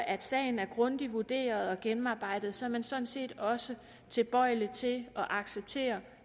at sagen er grundigt vurderet og gennemarbejdet så er man sådan set også tilbøjelig til at acceptere